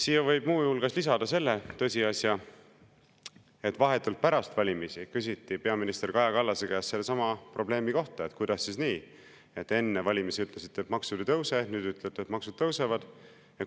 Siia võib muu hulgas lisada selle tõsiasja, et vahetult pärast valimisi küsiti peaminister Kaja Kallase käest sellesama probleemi kohta: "Kuidas siis nii, et enne valimisi ütlesite, et maksud ei tõuse, nüüd ütlete, et maksud tõusevad.